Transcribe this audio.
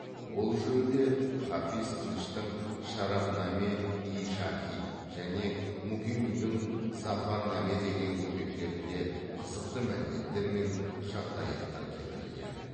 ол жөнінде хафиз тыныштың шараф наме ий шахи және мукимидің зафар наме деген еңбектерінде қызықты мәліметтер мен жағдаяттар келтірілген